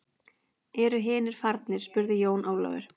Eru hinir farnir spurði Jón Ólafur.